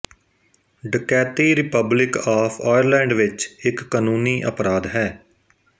ਡਕੈਤੀ republic of Ireland ਵਿੱਚ ਇੱਕ ਕਾਨੂੰਨੀ ਅਪਰਾਧ ਹੈ